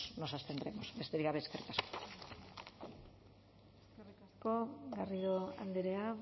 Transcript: nos abstendremos besterik gabe eskerrik asko eskerrik asko garrido andrea